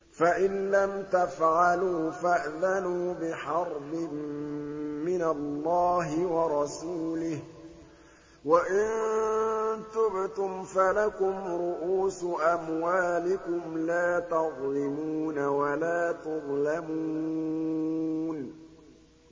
فَإِن لَّمْ تَفْعَلُوا فَأْذَنُوا بِحَرْبٍ مِّنَ اللَّهِ وَرَسُولِهِ ۖ وَإِن تُبْتُمْ فَلَكُمْ رُءُوسُ أَمْوَالِكُمْ لَا تَظْلِمُونَ وَلَا تُظْلَمُونَ